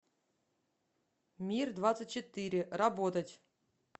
мир двадцать четыре работать